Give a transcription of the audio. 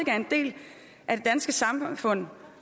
er en del af det danske samfund